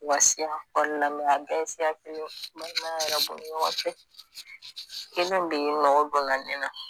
Wasiya kɔɔni lamɛn a bɛɛ ye siya kelen balimaya yɛrɛ b'o ni ɲɔgɔn cɛ kelen de ye mɔgɔ bonyanen no